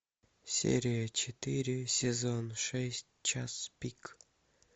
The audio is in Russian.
серия четыре сезон шесть час пик